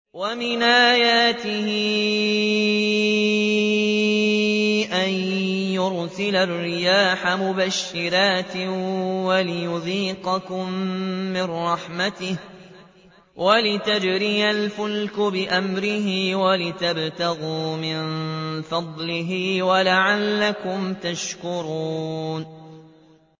وَمِنْ آيَاتِهِ أَن يُرْسِلَ الرِّيَاحَ مُبَشِّرَاتٍ وَلِيُذِيقَكُم مِّن رَّحْمَتِهِ وَلِتَجْرِيَ الْفُلْكُ بِأَمْرِهِ وَلِتَبْتَغُوا مِن فَضْلِهِ وَلَعَلَّكُمْ تَشْكُرُونَ